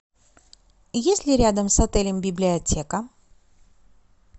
есть ли рядом с отелем библиотека